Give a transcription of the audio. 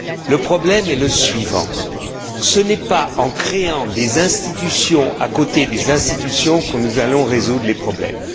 Le problème est le suivant ce n'est pas en créant des institutions à côté des institutions que nous allons résoudre les problèmes.